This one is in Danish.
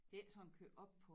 Det er ikke sådan kørt op på